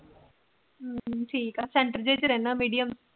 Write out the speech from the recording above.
ਹੁ ਹੁ ਠੀਕ ਆ ਸੈਂਟਰ ਚ ਰਹਿੰਦਾ ਮੀਡੀਅਮ